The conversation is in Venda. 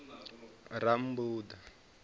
rammbuḓa